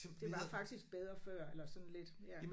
Det var faktisk bedre før eller sådan lidt ja